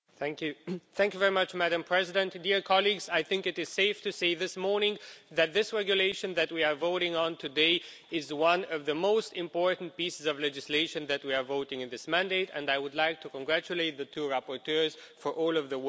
Madam President, I think it is safe to say this morning that this regulation that we are voting on today is one of the most important pieces of legislation that we have voted on in this mandate and I would like to congratulate the two rapporteurs for all of the work which they have done.